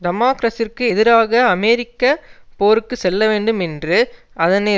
டமாக்ரஸ்ஸிற்கு எதிராக அமெரிக்க போருக்கு செல்லவேண்டும் என்று அதனை